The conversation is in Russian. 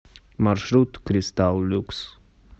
маршрут кристалл люкс